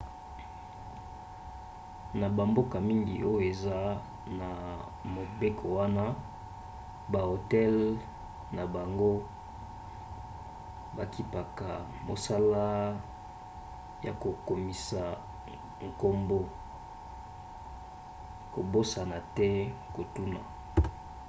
na bamboka mingi oyo eza na mobeko wana bahotel na bango bakipaka mosala ya kokomisa nkombo kobosana te kotuna